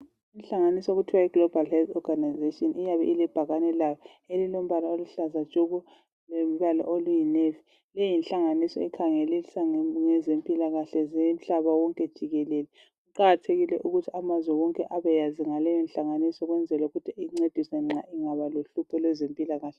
Inhlanganiso okuthiwa yiGlobal Health Orgainization. Iyabe ilebhakane layo elilombala oluhlaza tshoko! Lombala oluyinavy.. Luyinhlanganiso ekhangelisa ngezempilakahle, zomhlaba wonke jikelele. Kuqakathekile ukuthi amazwe wonke abeyazi ngaleyonhlanganiso. Ukuze ancediswe angaba lohlupho, kwezempilakahle.